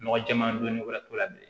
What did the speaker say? Nɔgɔ jɛɛman don ni wari t'o la bilen